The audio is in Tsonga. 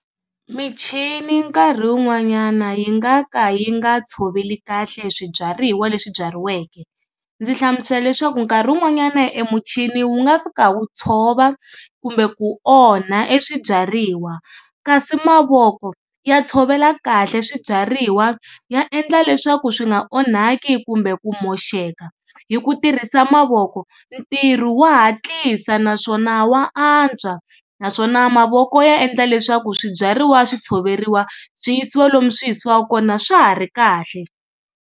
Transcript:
Michini nkarhi wun'wanyana yi nga ka yi nga tshoveli kahle swibyariwa leswi byariweke ndzi hlamusela leswaku nkarhi wun'wanyana emuchini wu nga fika wu tshova kumbe ku onha eswibyariwa ka si mavoko ya tshovela kahle swibyariwa ya endla leswaku swi nga onhaki kumbe ku moxeka hi ku tirhisa mavoko ntirho wa hatlisa naswona wa antswa naswona mavoko ya endla leswaku swibyariwa swi tshoveriwa swi yisiwa lomu swiyisiwaku kona swa ha ri kahle.